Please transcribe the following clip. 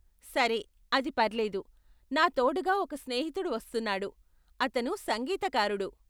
సరే, అది పర్లేదు. నా తోడుగా ఒక స్నేహితుడు వస్తున్నాడు, అతను సంగీతకారుడు.